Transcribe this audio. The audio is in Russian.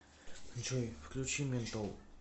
джой включи ментол